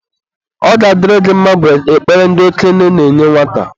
Ọ ga-adịrị gị mma bụ ekpere ndị okenye na-enye nwata.